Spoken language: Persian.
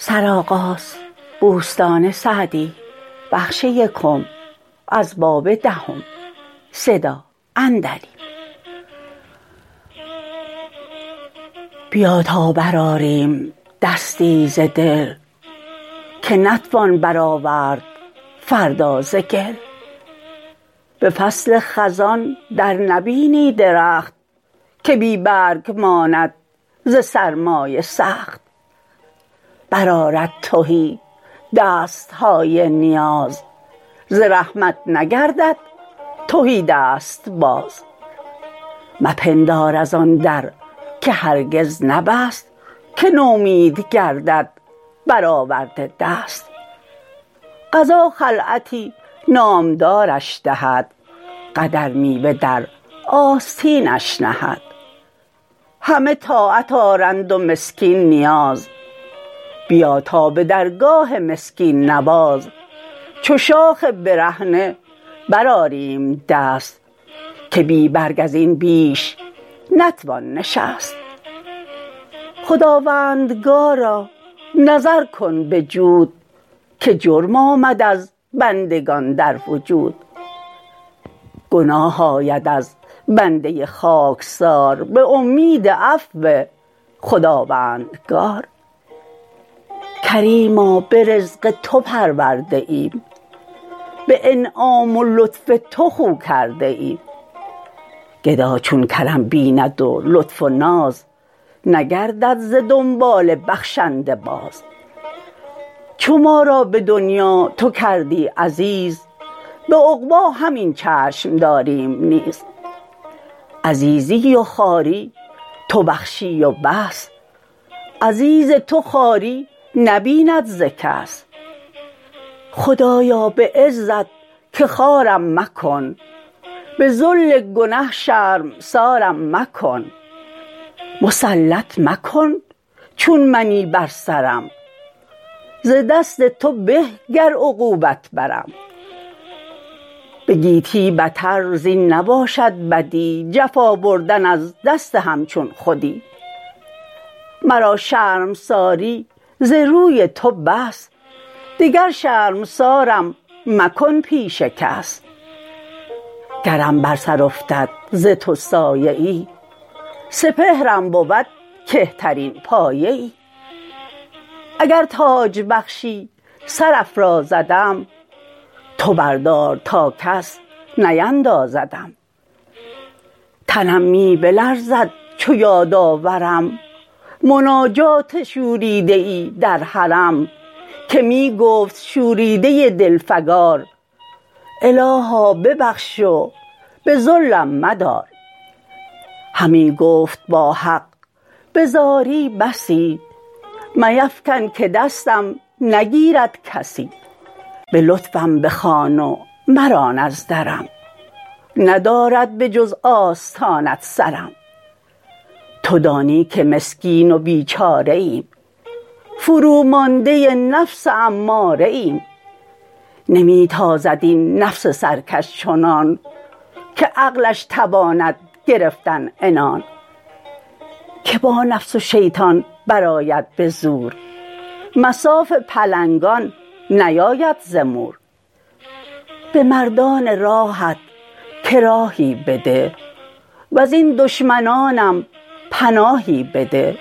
بیا تا برآریم دستی ز دل که نتوان برآورد فردا ز گل به فصل خزان در نبینی درخت که بی برگ ماند ز سرمای سخت برآرد تهی دست های نیاز ز رحمت نگردد تهی دست باز مپندار از آن در که هرگز نبست که نومید گردد بر آورده دست قضا خلعتی نامدارش دهد قدر میوه در آستینش نهد همه طاعت آرند و مسکین نیاز بیا تا به درگاه مسکین نواز چو شاخ برهنه برآریم دست که بی برگ از این بیش نتوان نشست خداوندگارا نظر کن به جود که جرم آمد از بندگان در وجود گناه آید از بنده خاکسار به امید عفو خداوندگار کریما به رزق تو پرورده ایم به انعام و لطف تو خو کرده ایم گدا چون کرم بیند و لطف و ناز نگردد ز دنبال بخشنده باز چو ما را به دنیا تو کردی عزیز به عقبی همین چشم داریم نیز عزیزی و خواری تو بخشی و بس عزیز تو خواری نبیند ز کس خدایا به عزت که خوارم مکن به ذل گنه شرمسارم مکن مسلط مکن چون منی بر سرم ز دست تو به گر عقوبت برم به گیتی بتر زین نباشد بدی جفا بردن از دست همچون خودی مرا شرمساری ز روی تو بس دگر شرمسارم مکن پیش کس گرم بر سر افتد ز تو سایه ای سپهرم بود کهترین پایه ای اگر تاج بخشی سر افرازدم تو بردار تا کس نیندازدم تنم می بلرزد چو یاد آورم مناجات شوریده ای در حرم که می گفت شوریده دل فگار الها ببخش و به ذلم مدار همی گفت با حق به زاری بسی میفکن که دستم نگیرد کسی به لطفم بخوان و مران از درم ندارد به جز آستانت سرم تو دانی که مسکین و بیچاره ایم فرومانده نفس اماره ایم نمی تازد این نفس سرکش چنان که عقلش تواند گرفتن عنان که با نفس و شیطان برآید به زور مصاف پلنگان نیاید ز مور به مردان راهت که راهی بده وز این دشمنانم پناهی بده